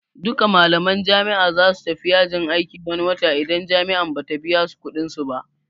Duka malaman jami'a zasu tafi yajin aiki wani wata idan jami'an Bata biyasu kuɗin su ba